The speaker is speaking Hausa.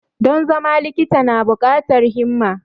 Don zama likita na bukatar himma.